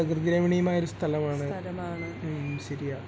പ്രകൃതി രമണീയമായ ഒരു സ്ഥലമാണ് മ് ശരിയാ